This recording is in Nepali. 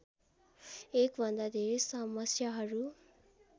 एकभन्दा धेरै समस्याहरू